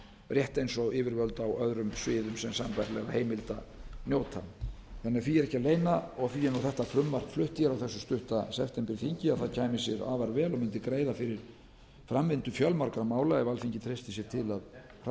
rétt eins og yfirvöld á öðrum sviðum sem sambærilegra heimilda njóta því er ekki að leyna og því er þetta frumvarp flutt á þessu stutta septemberþingi að það kæmi sér afar vel og mundi greiða fyrir framvindu fjölmargra mála ef alþingi treysti sér til að hraða